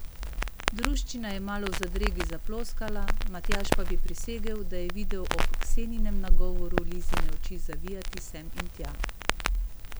Druščina je malo v zadregi zaploskala, Matjaž pa bi prisegel, da je videl ob Ksenjinem nagovoru Lizine oči zavijati sem in tja.